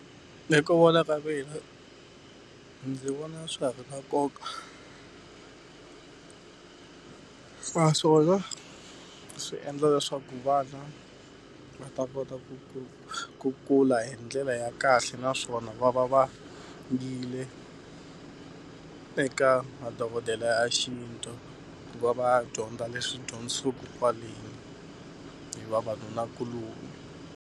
Hi ku vona ka mina ndzi vona swa ha ri na nkoka. Naswona swi endla leswaku vana va ta kota ku ku ku ku kula hi ndlela ya kahle naswona va va yile eka madokodela ya xintu ku va va ya dyondza leswi dyondzisiwaka kwale hi vavanunakuloni.